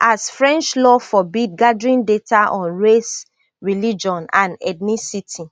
as french law forbid gathering data on race religion and ethnicity